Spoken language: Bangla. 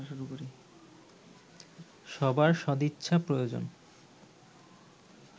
সবার সদিচ্ছা প্রয়োজন